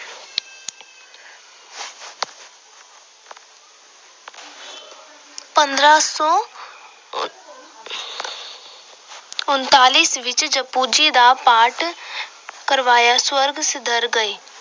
ਪੰਦਰਾਂ ਸੌ ਉ ਅਹ ਉਨਤਾਲੀ ਈਸਵੀ ਵਿੱਚ ਜਪੁ ਜੀ ਦਾ ਪਾਠ ਕਰਵਾਇਆ, ਸਵਰਗ ਸਿਧਾਰ ਗਏ।